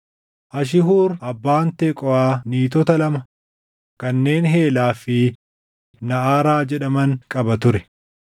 Ashihuur abbaan Teqooʼaa niitota lama kanneen Heelaa fi Naʼaraa jedhaman qaba ture.